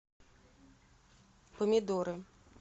помидоры